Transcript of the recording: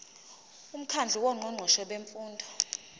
umkhandlu wongqongqoshe bemfundo